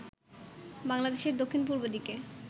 বাংলাদেশের দক্ষিণ-পূর্ব দিকে